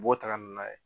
U b'u taga n'a ye